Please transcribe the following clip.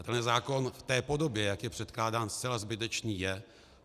A tenhle zákon v té podobě, jak je předkládán, zcela zbytečný je.